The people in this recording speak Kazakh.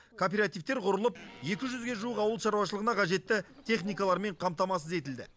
кооперативтер құрылып екі жүзге жуық ауыл шаруашылығына қажетті техникалармен қамтамасыз етілді